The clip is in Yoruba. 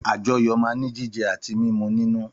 Àjọyọ̀ máa ń ní jíjẹ àti mímu nínú